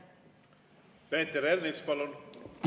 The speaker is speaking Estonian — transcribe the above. Peeter Ernits, palun!